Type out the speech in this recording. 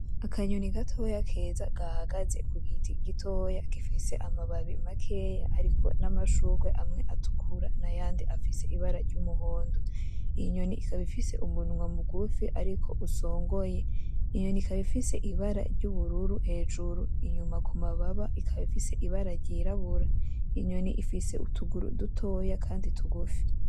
Akanyoni gatoya keza gahagaze ku giti gitoya gifise amababi makeya hariko n'amashurwe amwe atukura nayandi afise ibara ry'umuhondo, inyoni ikaba ifise umunwa mugufi ariko usongoye, inyoni ikaba ifise ibara ry'ubururu hejuru, inyuma ku mababa ikaba ifise ibara ryirabura, inyoni ifise utuguru dutoya kandi tugufi.